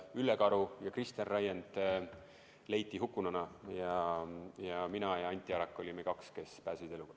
Ülle Karu ja Kristjan Raiend leiti hukkununa ning mina ja Anti Arak olime kaks, kes pääsesid eluga.